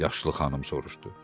Yaşlı xanım soruşdu.